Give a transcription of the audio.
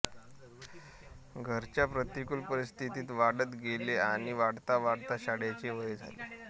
घरच्या प्रतिकूल परिस्थितीत वाढत गेले आणि वाढता वाढता शाळेचे वय झाले